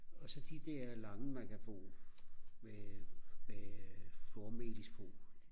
og så de der lange man kan få med med flormelis på